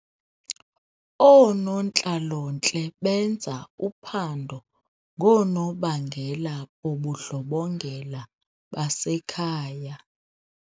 Oonontlalontle benza uphando ngoonobangela bobundlobongela basekhaya.